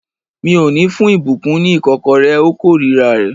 Mi ò ní fún ìbùkún ní ìkọ́kọrẹ́. Ó kórira rẹ̀